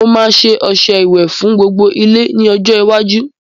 Mo ma ṣe ọṣẹ ìwẹ̀ fún gbogbo ilé ní ọjọ́ iwájú